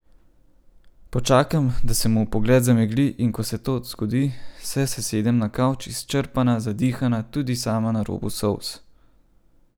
Počakam, da se mu pogled zamegli, in ko se to zgodi, se sesedem na kavč, izčrpana, zadihana, tudi sama na robu solz.